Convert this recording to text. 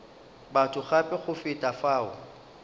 batho gape go feta fao